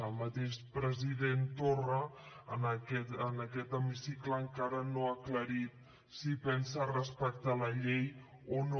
el mateix president torra en aquest hemicicle encara no ha aclarit si pensa respectar la llei o no